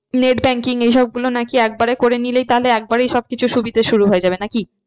Net banking এইসব গুলো নাকি একবারে করে নিলেই তাহলে একেবারেই সব কিছু সুবিধা শুরু হয়ে যাবে নাকি?